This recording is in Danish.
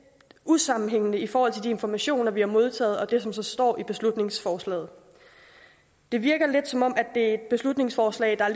usammenhængende i forhold til de informationer vi har modtaget og det som så står i beslutningsforslaget det virker lidt som om det er et beslutningsforslag der er